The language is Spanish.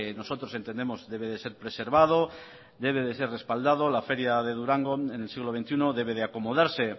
nosotros entendemos debe de ser preservado debe de ser respaldado la feria de durango en el siglo veintiuno debe de acomodarse